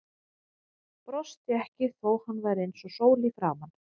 Brosti ekki þó að hann væri eins og sól í framan.